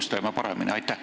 Ehk teeme tulevikus paremini.